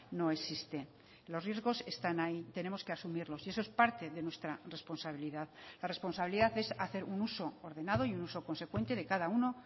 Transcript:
no existe los riesgos están ahí tenemos que asumirlos y eso es parte de nuestra responsabilidad la responsabilidad es hacer un uso ordenado y un uso consecuente de cada uno